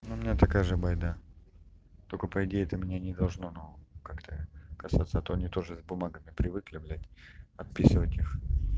но у меня такая же байда только по идее это меня не должно но как-то касаться а то они тоже с бумагами привыкли блядь отписывать их